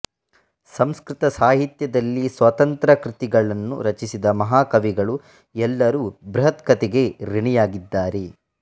ಸಂಸ್ಕೃತ ಸಾಹಿತ್ಯದಲ್ಲಿ ಸ್ವತಂತ್ರ ಕೃತಿಗಳನ್ನು ರಚಿಸಿದ ಮಹಾಕವಿಗಳು ಎಲ್ಲರೂ ಬೃಹತ್ಕಥೆಗೆ ಋಣಿಯಾಗಿದ್ದಾರೆ